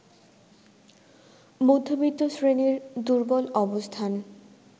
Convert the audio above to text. মধ্যবিত্ত শ্রেণীর দুর্বল অবস্থান